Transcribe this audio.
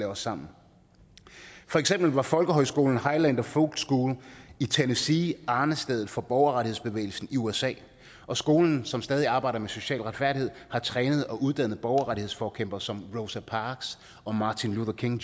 os sammen for eksempel var folkehøjskolen highlander folk school i tennessee arnestedet for borgerrettighedsbevægelsen i usa og skolen som stadig arbejder med social retfærdighed har trænet og uddannet borgerrettighedsforkæmpere som rosa parks og martin luther king